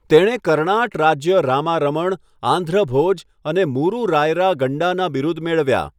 તેણે 'કરણાટ રાજ્ય રામા રમણ', 'આંધ્ર ભોજ' અને 'મૂરુ રાયરા ગંડા'ના બિરુદ મેળવ્યા.